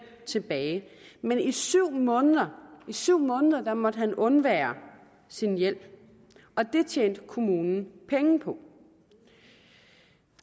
tilbage men i syv måneder syv måneder måtte han undvære sin hjælp det tjente kommunen penge på